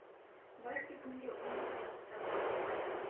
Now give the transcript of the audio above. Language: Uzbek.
Balki bunga uning hayoti sabab bo‘lgandir.